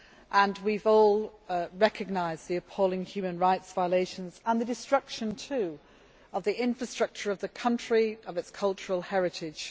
and we have all recognised the appalling human rights violations and the destruction of the infrastructure of the country and of its cultural heritage.